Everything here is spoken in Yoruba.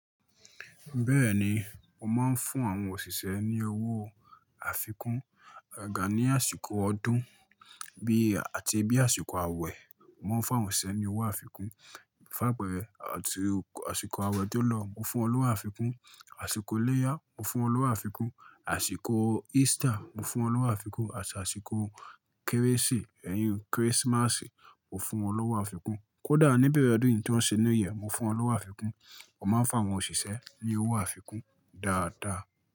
Bẹ́ẹ̀ni, mo máa ń fún àwọn òṣìṣẹ́ ní owó àfikún, agaga ní àsìkò ọdún bí àti bí àsìkò àwẹ̀, mo ń fún àwọn òṣìṣẹ́ ní owó àfikún. Fun apeẹ̀rẹ̀ àti àsìkò àwẹ̀ tó lọ, mo fún wọn ní owó àfikún, àsìkò iléyà mo fún wọn ní owó àfikún, àsìkò Easter mo fún wọn ní owó àfikún àti àsìkò kérésì, ẹ̀yìi Christmas mo fún wọn ní owó àfikún. Kódà níbẹ̀rẹ̀ ọdún yìí tí wọ́n ṣe New year, mo fún wọn ní owó àfikún. Mo máa ń fún àwọn òṣìṣẹ́ ní owó àfikún dáadáa.